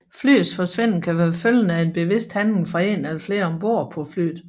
Flyets forsvinden kan være følgerne af en bevidst handling fra en eller flere ombord på flyet